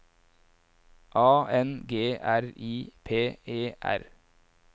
A N G R I P E R